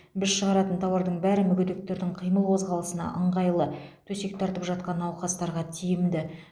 біз шығаратын тауардың бәрі мүгедектердің қимыл қозғалысына ыңғайлы төсек тартып жатқан науқастарға тиімді